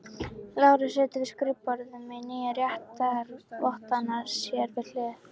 Lárus situr við skrifborðið með nýju réttarvottana sér við hlið.